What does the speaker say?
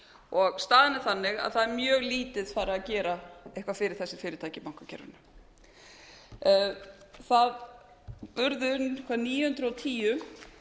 og staðan er þannig að það er mjög lítið farið að gera eitthvað fyrir þessi fyrirtæki í bankakerfinu það urðu eitthvað níu hundruð og tíu